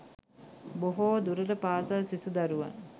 බොහෝ දුරට පාසල් සිසු දරුවන්